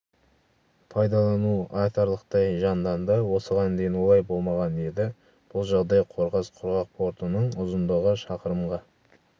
пайдалану айтарлықтай жанданды осыған дейін олай болмаған еді бұл жағдай қорғас құрғақ портының ұзындығы шақырымға